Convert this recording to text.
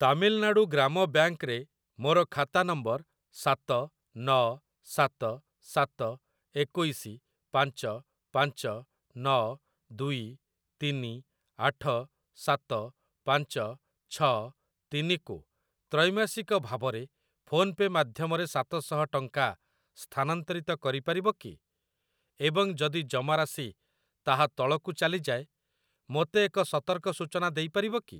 ତାମିଲନାଡ଼ୁ ଗ୍ରାମ ବ୍ୟାଙ୍କ୍‌ ରେ ମୋର ଖାତା ନମ୍ବର ସାତ ନ ସାତ ସାତ ଏକୋଇଶି ପାଞ୍ଚ ପାଞ୍ଚ ନ ଦୁଇ ତିନି ଆଠ ସାତ ପାଞ୍ଚ ଛ ତିନି କୁ ତ୍ରୈମାସିକ ଭାବରେ ଫୋନ୍‌ପେ ମାଧ୍ୟମରେ ସାତ ଶହ ଟଙ୍କା ସ୍ଥାନାନ୍ତରିତ କରିପାରିବ କି ଏବଂ ଯଦି ଜମାରାଶି ତାହା ତଳକୁ ଚାଲିଯାଏ ମୋତେ ଏକ ସତର୍କ ସୂଚନା ଦେଇପାରିବ କି?